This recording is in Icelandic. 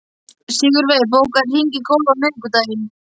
Sigurey, bókaðu hring í golf á miðvikudaginn.